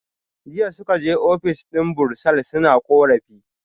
Jiya suka je office din bursar suna korafi